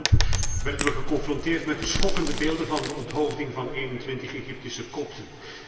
De maand erop werden we geconfronteerd met de schokkende beelden van de onthoofding van 21 Egyptische Kopten.